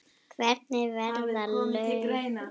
Hvernig verða lög til?